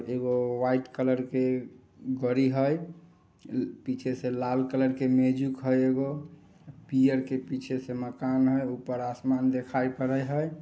एगो white colour की गड़ी है पीछे से लाल कलर के मेजिक हेय एगो पीयर के पीछे से माकन है ऊपर आसमान देखाई पड़य है।